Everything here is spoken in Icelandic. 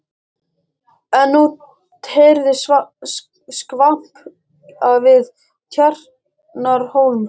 En nú heyrðist skvamp við Tjarnarhólmann.